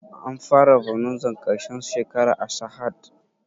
An fara bonanzar ƙarshen shekara a sahad?